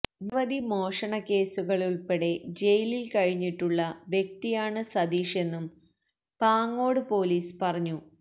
നിരവധി മോഷണക്കേസുകളിലുള്പ്പടെ ജയിലില് കഴിഞ്ഞിട്ടുള്ള വ്യക്തിയാണ് സതീഷെന്നും പാങ്ങോട് പൊലീസ് പറഞ്ഞു